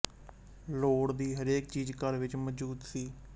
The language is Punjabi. ਲੋੜ ਦੀ ਹਰੇਕ ਚੀਜ਼ ਘਰ ਵਿੱਚ ਮੌਜੂਦ ਸੀ